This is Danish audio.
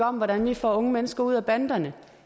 om hvordan vi får unge mennesker ud af banderne